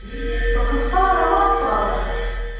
пока староват правда